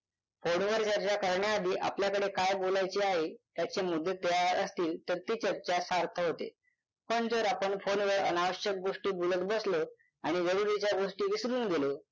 phone वर चर्चा करण्याआधी आपल्याकडे काय बोलायचे आहे त्याचे मुद्दे तयार असतील तर ती चर्चा सार्थ होते पण जर आपण phone वर अनावश्यक गोष्टी बोलत बसलो आणि जरुरीच्या गोष्टी विसरून गेलो